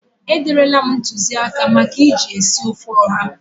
E derela m ntụzịaka maka eji esi ofe ụha.